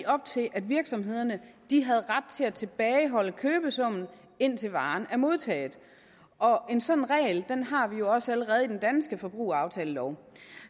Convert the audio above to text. op til at virksomhederne havde ret til at tilbageholde købesummen indtil varen var modtaget en sådan regel har vi jo også allerede i den danske forbrugeraftalelov